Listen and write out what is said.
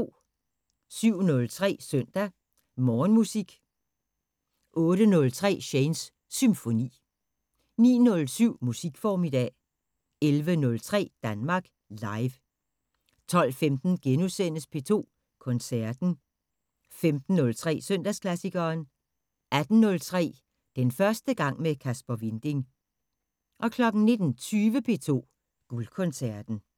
07:03: Søndag Morgenmusik 08:03: Shanes Symfoni 09:07: Musikformiddag 11:03: Danmark Live 12:15: P2 Koncerten * 15:03: Søndagsklassikeren 18:03: Den første gang med Kasper Winding 19:20: P2 Guldkoncerten